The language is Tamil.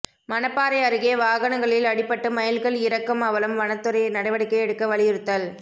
மணப்பாறை அருகே வாகனங்களில் அடிபட்டு மயில்கள் இறக்கும் அவலம் வனத்துறை நடவடிக்கை எடுக்க வலியுறுத்தல்